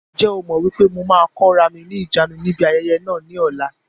Ǹjẹ́ o mọ wípé mo máa kóra mi ni ìjánu ni ibi ayẹyẹ náà ni ọ̀la?